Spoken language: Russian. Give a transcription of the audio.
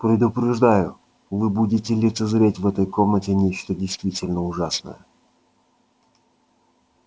предупреждаю вы будете лицезреть в этой комнате нечто действительно ужасное